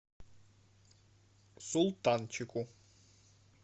султанчику